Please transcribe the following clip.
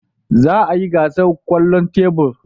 Za a yi gasar kwallon tebur.